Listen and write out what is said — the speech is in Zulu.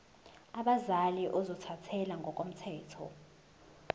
abazali ozothathele ngokomthetho